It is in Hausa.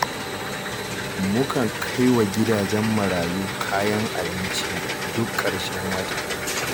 Mukan kai wa gidajen marayu kayan abinci duk ƙarshen wata